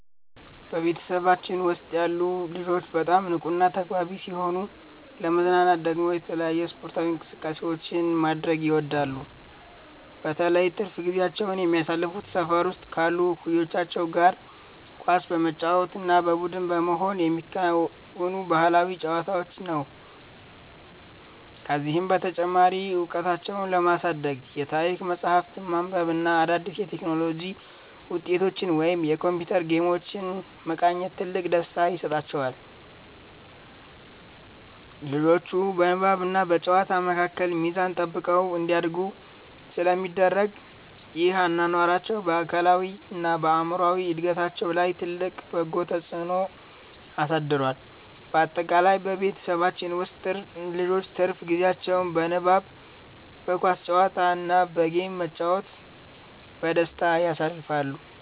በቤተሰባችን ውስጥ ያሉ ልጆች በጣም ንቁና ተግባቢ ሲሆኑ፣ ለመዝናናት ደግሞ የተለያዩ ስፖርታዊ እንቅስቃሴዎችን ማድረግ ይወዳሉ። በተለይ ትርፍ ጊዜያቸውን የሚያሳልፉት ሰፈር ውስጥ ካሉ እኩዮቻቸው ጋር ኳስ በመጫወት እና በቡድን በመሆን በሚከወኑ ባህላዊ ጨዋታዎች ነው። ከዚህም በተጨማሪ እውቀታቸውን ለማሳደግ የታሪክ መጽሐፍትን ማንበብ እና አዳዲስ የቴክኖሎጂ ውጤቶችን ወይም የኮምፒውተር ጌሞችን መቃኘት ትልቅ ደስታ ይሰጣቸዋል። ልጆቹ በንባብና በጨዋታ መካከል ሚዛን ጠብቀው እንዲያድጉ ስለሚደረግ፣ ይህ አኗኗራቸው በአካላዊና በአእምሮ እድገታቸው ላይ ትልቅ በጎ ተጽዕኖ አሳድሯል። ባጠቃላይ በቤተሰባችን ውስጥ ልጆች ትርፍ ጊዜያቸውን በንባብ፣ በኳስ ጨዋታ እና በጌም በመጫወት በደስታ ያሳልፋሉ።